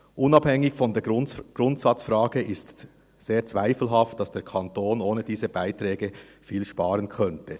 Unabhängig von der Grundsatzfrage ist sehr zweifelhaft, dass der Kanton ohne diese Beiträge viel sparen könnte.